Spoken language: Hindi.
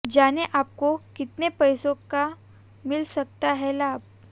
जाने आपको कितने पैसों का मिल सकता है लाभ